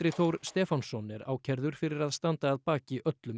Þór Stefánsson er ákærður fyrir að standa að baki öllum